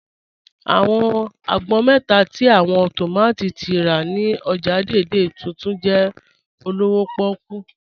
Awọn àgbọn mẹ́ta tí awọn tómátí tí a rá ni ọ́jà Dei-Dei Tuntun jẹ olówò pòkú